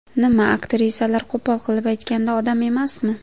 Nima, aktrisalar, qo‘pol qilib aytganda, odam emasmi?